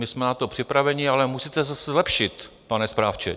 My jsme na to připraveni, ale musíte se zlepšit, pane správce.